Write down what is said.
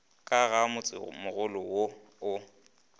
ka ga motsemogolo wo o